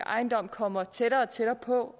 ejendom kommer tættere og tættere på